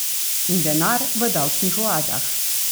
In denar v davčnih oazah.